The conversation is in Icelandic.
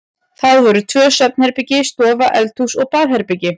Það voru tvö svefnherbergi, stofa, eldhús og baðherbergi.